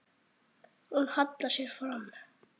Hún hallar sér fram.